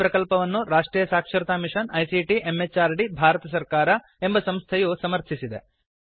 ಈ ಪ್ರಕಲ್ಪವನ್ನು ರಾಷ್ಟ್ರೀಯ ಸಾಕ್ಷರತಾ ಮಿಷನ್ ಐಸಿಟಿ ಎಂಎಚಆರ್ಡಿ ಭಾರತ ಸರ್ಕಾರ ಎಂಬ ಸಂಸ್ಥೆಯು ಸಮರ್ಥಿಸಿದೆ